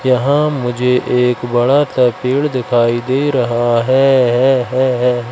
यहां मुझे एक बड़ा सा पेड़ दिखाई दे रहा है है है है है।